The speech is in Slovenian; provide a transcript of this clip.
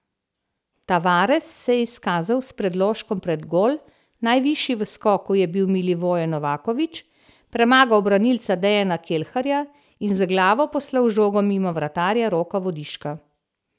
Tavares se je izkazal s predložkom pred gol, najvišji v skoku je bil Milivoje Novaković, premagal branilca Dejana Kelharja in z glavo poslal žogo mimo vratarja Roka Vodiška.